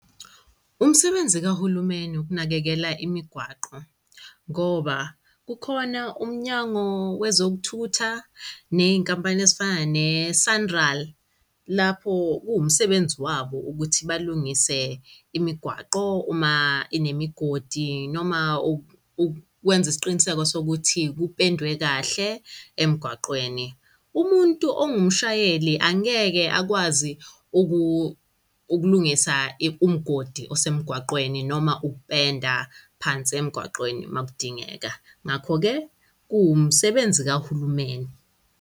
Umsebenzi kahulumeni ukunakekela imigwaqo, ngoba kukhona uMnyango Wezokuthutha ney'nkampani ezifana ne-Sanral lapho kuwumsebenzi wabo ukuthi balungise imigwaqo uma inemigodi noma ukwenza isiqiniseko sokuthi kupendwe kahle emgwaqweni. Umuntu ongumshayeli angeke akwazi ukulungisa umgodi osemgaqweni noma ukupenda phansi emgwaqweni uma kudingeka, ngakho-ke kuwumsebenzi kahulumeni.